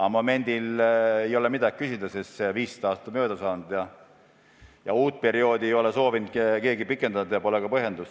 Aga momendil ei ole midagi küsida, sest see 15 aastat on mööda saanud ja keegi ei ole soovinud seda erisust uuesti kehtestada ja see poleks ka põhjendatud.